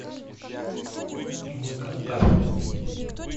прямой контакт